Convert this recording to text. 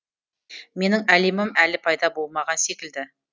менің әлемім әлі пайда болмаған секілді